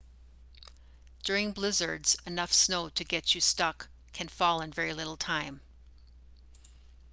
during blizzards enough snow to get you stuck can fall in very little time